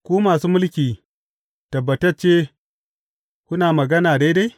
Ku masu mulki tabbatacce kuna magana daidai?